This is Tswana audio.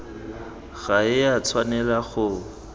ga e a tshwanela go